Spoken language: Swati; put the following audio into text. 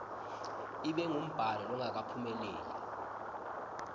ibe ngumbhalo longakaphumeleli